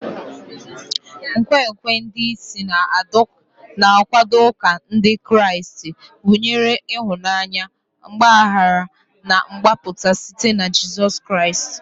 Nkwenkwe ndị bụ isi na-akwado ụka Ndị Kraịst gụnyere ịhụnanya, mgbaghara, na mgbapụta site na Jizọs Kraịst.